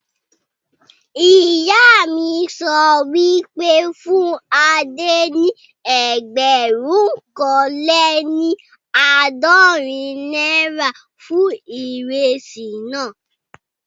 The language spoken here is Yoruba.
Ìyá mi sọ wípé, fún Adé ní ẹgbẹ̀rún kan lé ní àádọ́rin náírà fún ìrẹsì naa